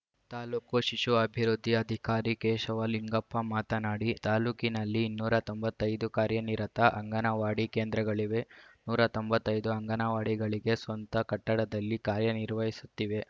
ತಾಲೂಕು ಶಿಶು ಅಭಿವೃದ್ಧಿ ಅಧಿಕಾರಿ ಕೇಶವ ಲಿಂಗಪ್ಪ ಮಾತನಾಡಿ ತಾಲೂಕಿನಲ್ಲಿ ಇನ್ನೂರ ತೊಂಬತ್ತೈದು ಕಾರ್ಯನಿರತ ಅಂಗನವಾಡಿ ಕೇಂದ್ರಗಳಿವೆ ನೂರ ತೊಂಬತ್ತೈ ದು ಅಂಗನವಾಡಿಗಳಿಗೆ ಸ್ವಂತ ಕಟ್ಟಡದಲ್ಲಿ ಕಾರ್ಯ ನಿರ್ವಹಿಸುತ್ತಿವೆ